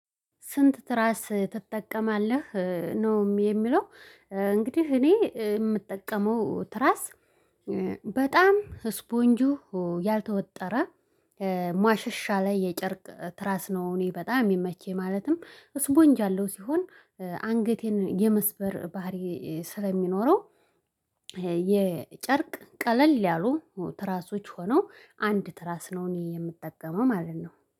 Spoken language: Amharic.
ስንት ትራስ ትጠቀማለህ ነው የሚለው? እንግዲህ እኔ የምጠቀመው ትራስ። በጣም ስፖንጁ ያልተወጠረ ሟሸሽ ያለ የጨርቅ ትራስ ነው። እኔ በጣም የሚመቸኝ ማለትም ስፖንጅ ያለው ሲሆን አንገቴን የመስበር ባህሪ ስለሚኖረው። የጨርቅ ቀለል ያሉ ትራሶች ሆነው አንድ ትራስ ነው የምትጠቀመው ማለት ነው